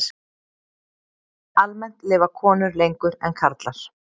Almennt lifa konur lengur en karlar.